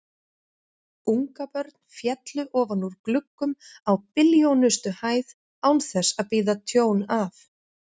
Ungabörn féllu ofan úr gluggum á billjónustu hæð án þess að bíða tjón af.